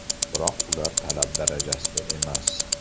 Biroq ular talab darajasida emas.